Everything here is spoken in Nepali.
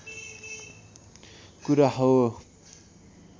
कुरा हो